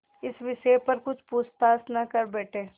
इस विषय पर कुछ पूछताछ न कर बैठें